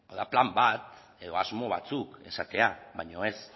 da plan bat edo asmo batzuk esatea baina ez